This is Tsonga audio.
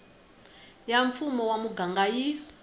ya mfumo wa muganga yi